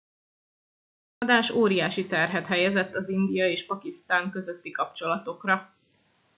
a támadás óriási terhet helyezett az india és pakisztán közötti kapcsolatokra